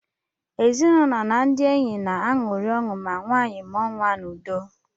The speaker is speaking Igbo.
Ezinụlọ na ndị enyi na-aṅụrị ọṅụ ma nwanyị mụọ nwa n’udo